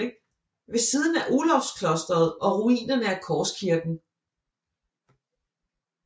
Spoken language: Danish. Ved siden af Olavsklosteret og ruinerne af Korskirken